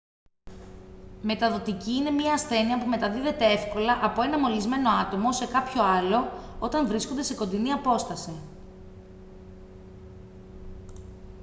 μεταδοτική είναι μια ασθένεια που μεταδίδεται εύκολα από ένα μολυσμένο άτομο σε κάποιο άλλο όταν βρίσκονται σε κοντινή απόσταση